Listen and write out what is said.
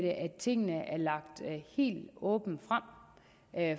tingene er lagt helt åbent frem